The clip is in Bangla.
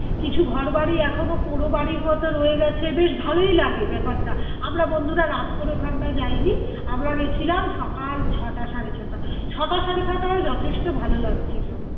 কিছু ঘরবাড়ি এখনো পোরো বাড়ির মতো রয়ে গেছে বেশ ভালোই লাগে ব্যাপারটা আমরা বন্ধুরা রাত করে ওখানটা যায়নি আমরা গেছিলাম সকাল ছটা সাড়ে ছটা ছটা সাড়ে ছটা ও যথেষ্ট ভালো লাগছিলো